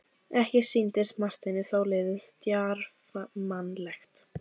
Ekki sýndist Marteini þó liðið djarfmannlegt.